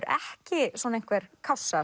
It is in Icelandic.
ekki svona einhver